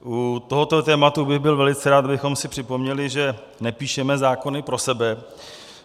U tohoto tématu bych byl velice rád, kdybychom si připomněli, že nepíšeme zákony pro sebe.